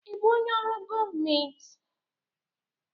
Ị bụ onye ọrụ gọọmentị?